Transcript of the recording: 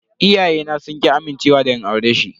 Iyayena sun ki amincewa da in aure shi.